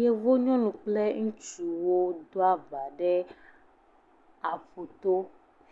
Yevu nyɔnu kple ŋutsuwo ɖo aba ɖe aƒuto